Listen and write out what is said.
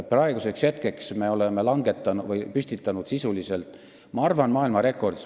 Praeguseks me oleme minu arvates sisuliselt püstitanud maailmarekordi.